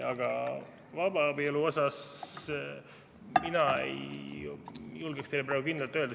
Aga vabaabielu kohta ei julgeks ma teile praegu kindlalt öelda.